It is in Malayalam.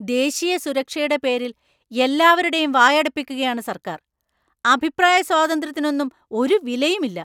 ദേശീയ സുരക്ഷയുടെ പേരിൽ എല്ലാവരുടെയും വായടപ്പിക്കുകയാണ് സർക്കാർ. അഭിപ്രായസ്വാതന്ത്ര്യത്തിനൊന്നും ഒരു വിലയും ഇല്ല.